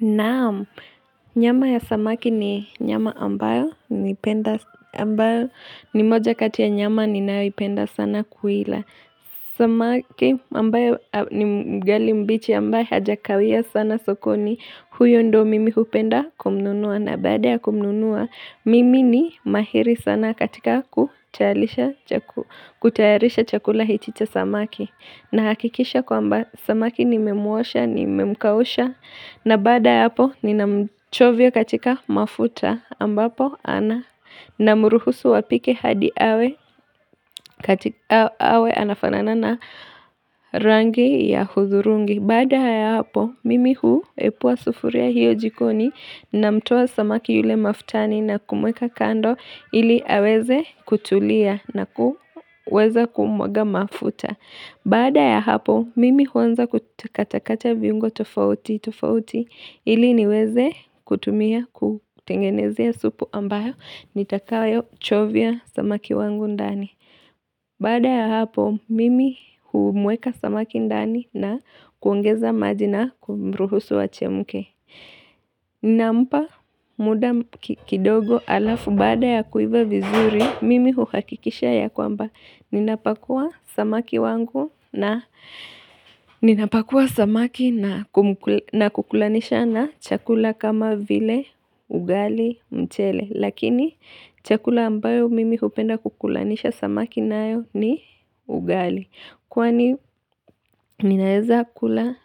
Naam Nyama ya samaki ni nyama ambayo nimependa ambayo ni moja kati ya nyama ninayoipenda sana kuila Samaki ambaye ni mngali mbichi ambaye hajakawia sana sokoni huyo ndio mimi hupenda kumnunua na baada ya kumnunua Mimi ni mahiri sana katika kutayarisha chakula hiki cha samaki Nahakikisha kwamba samaki nimemuosha nimemkausha na baada ya hapo ninamchovya katika mafuta ambapo namruhusu apike hadi awe katika awe anafanana na rangi ya udhurungi. Baada ya hapo mimi huepua sufuria hiyo jikoni namtoa samaki yule mafutani na kumweka kando ili aweze kutulia na kuweza kumwaga mafuta. Baada ya hapo, mimi huanza kukakata kata viungo tofautitofauti ili niweze kutumia kutengenezea supu ambayo nitakayochovya samaki wangu ndani. Baada ya hapo, mimi humweka samaki ndani na kuongeza maji na kumruhusu achemke. Nampa muda kidogo alafu baada ya kuiva vizuri, mimi huhakikisha ya kwamba ninapakua Ninapakua samaki na kukulanisha na chakula kama vile ugali mchele Lakini chakula ambayo mimi hupenda kukulanisha samaki nayo ni ugali Kwani ninaeza kula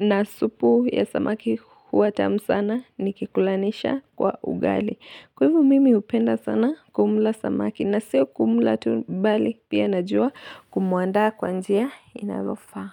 na supu ya samaki huwa tamu sana nikikulanisha kwa ugali. Kwa hiivo mimi hupenda sana kumla samaki na sio kumla tu bali pia najua kumuandaa kwa njia inayofaa.